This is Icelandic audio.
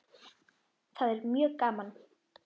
Það er mjög gaman.